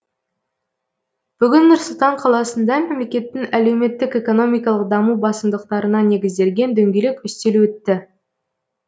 бүгін нұр сұлтан қаласында мемлекеттің әлеуметтік экономикалық даму басымдықтарына негізделген дөңгелек үстел өтті